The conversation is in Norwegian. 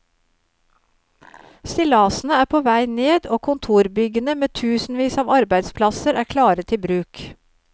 Stillasene er på vei ned, og kontorbyggene med tusenvis av arbeidsplasser er klare til bruk.